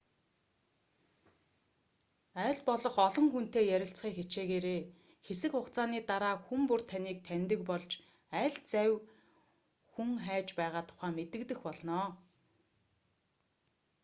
аль болох олон хүнтэй ярилцахыг хичээгээрэй хэсэг хугацааны дараа хүн бүр таныг таньдаг болж аль завь хүн хайж байгаа тухай мэдэгдэх болно